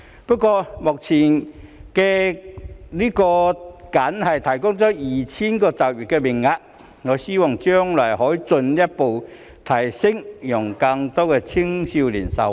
不過，這項計劃目前僅提供 2,000 個就業名額，我希望將來可以進一步增加，讓更多青少年受惠。